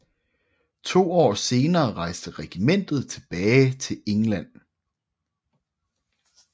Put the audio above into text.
To år senere rejste regimentet tilbage til England